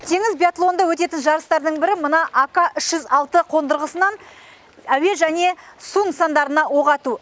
теңіз биатлонында өтетін жарыстардың бірі мына ака үш жүз алты қондырғысынан әуе және су нысандарына оқ ату